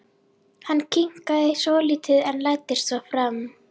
Hann hikaði svolítið en læddist svo fram.